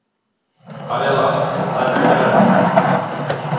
Aríella, hækkaðu í græjunum.